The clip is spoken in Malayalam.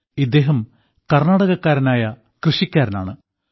ഇദ്ദേഹം കർണ്ണാടകക്കാരനായ കൃഷിക്കാരനാണ്